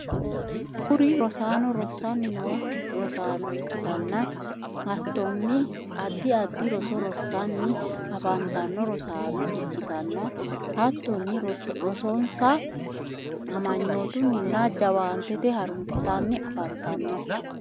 kuri rosaano rossanni noo rosaano ikkitanna hattoni addi addi roso rosanni afantanno rosaano ikkitanna hattonni rosonsa amanyotunninna jawaanete harunsatenni afantanno.